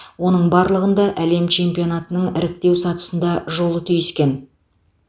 оның барлығында әлем чемпионатының іріктеу сатысында жолы түйіскен